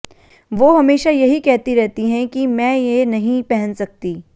वो हमेशा यही कहती रहती हैं कि मैं ये नहीं पहन सकती